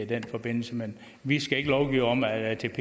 den forbindelse men vi skal ikke lovgive om at atp